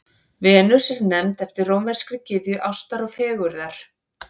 Venus er nefnd eftir rómverskri gyðju ástar og fegurðar.